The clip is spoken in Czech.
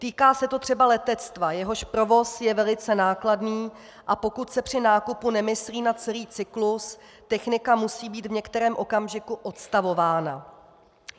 Týká se to třeba letectva, jehož provoz je velice nákladný, a pokud se při nákupu nemyslí na celý cyklus, technika musí být v některém okamžiku odstavována.